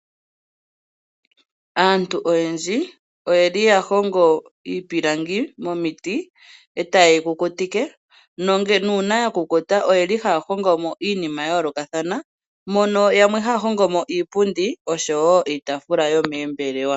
Aantu oyendji oyeli yahongo iipilangi momiti eta yeyi kukutike nuuna ya kukuta oyeli haya hongomo iinima ya yoolokathana mono yamwe haya hongomo iipundi nosho wo iitaafula yomoombelewa